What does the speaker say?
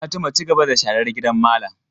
Fatima, cigaba da sharar gidan malam!